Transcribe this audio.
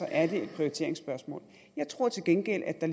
er det et prioriteringsspørgsmål jeg tror til gengæld at der